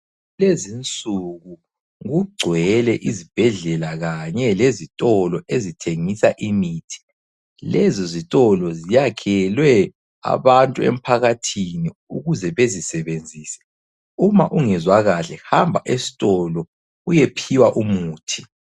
Lezinsuku kugcwele izibhedlela kanye lezitolo ezithengisa imithi. Lezozitolo ziyakhelwe abantu emphakathini ukuze bezisebenzise. Uma ungezwakahle hamba esitolo uyephiwa umithi.